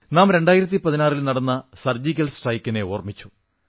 നാം 2016 ൽ നടന്ന സർജിക്കൽ സ്ട്രൈക്കിനെ ഓർമ്മിച്ചു